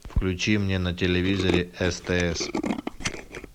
включи мне на телевизоре стс